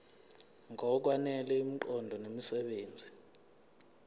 ngokwanele imiqondo nemisebenzi